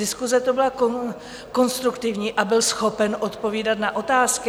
Diskuse to byla konstruktivní a byl schopen odpovídat na otázky.